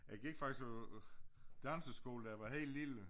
Jeg gik faktisk på øh danseskole da jeg var helt lille